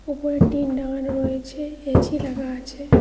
উপরে টিন দেওয়া রয়েছে এছি লাগা আছে।